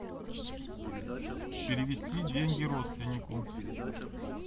перевести деньги родственнику